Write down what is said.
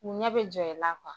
U ɲɛ bɛ jɔ i la